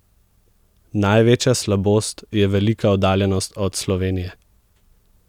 Največja slabost je velika oddaljenost od Slovenije.